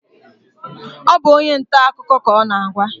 Ọ bụ onye nta akụkọ ka ọ na-agwa?